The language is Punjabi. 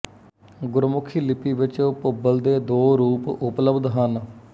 ਗੁਰਮੁਖੀ ਲਿਪੀ ਵਿਚ ਭੁੱਬਲ ਦੇ ਦੋ ਰੂਪ ਉਪਲਬਧ ਹਨ